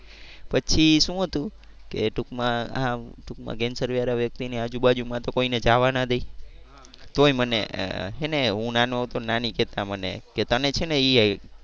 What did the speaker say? પછી શું હતું કે ટુંકમાં હા ટુંકમાં કેન્સર વાળા વ્યકિતને આજુબાજુ માં તો કોઈ ને જવા ના દે તોય મને હે ને હું નાનો હતો ને નાની કેતા મને કે તને છે ને એ